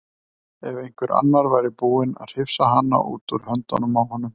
Að einhver annar væri búinn að hrifsa hana út úr höndunum á honum.